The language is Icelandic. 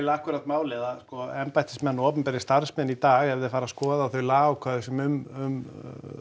akkúrat málið að sko embættismenn og opinberir starfsmenn í dag ef þeir fara að skoða þau lagaákvæði sem um